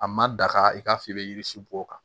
A ma daga i k'a fɔ i bɛ yiri si bɔ o kan